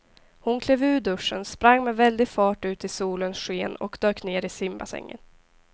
Hon klev ur duschen, sprang med väldig fart ut i solens sken och dök ner i simbassängen.